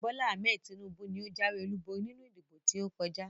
Bola Ahmed Tinubu ni ó jáwé olúborí nínú ìdìbò tí ó kọjá